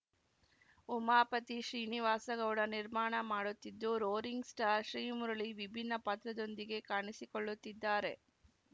ಉಮಾಪತಿ ಶ್ರೀನಿವಾಸ ಗೌಡ ನಿರ್ಮಾಣ ಮಾಡುತ್ತಿದ್ದು roaring star Srimurali ವಿಭಿನ್ನ ಪಾತ್ರದೊಂದಿಗೆ ಕಾಣಿಸಿಕೊಳ್ಳುತ್ತಿದ್ದಾರೆ